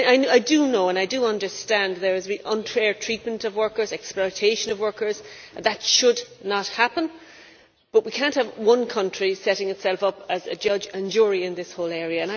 I do know and I do understand there has been unfair treatment of workers, exploitation of workers, and that should not happen, but we cannot have one country setting itself up as judge and jury in this whole area.